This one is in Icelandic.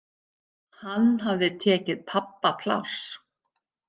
Hann hafði tekið pabba pláss.